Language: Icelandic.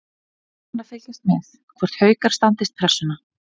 Gaman að fylgjast með: Hvort Haukar standist pressuna.